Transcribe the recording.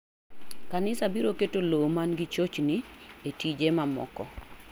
Kanisa biro keto lo man gi chochni e tije mamoko.